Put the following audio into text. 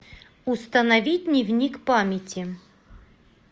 установи дневник памяти